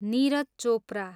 Neeraj Chopra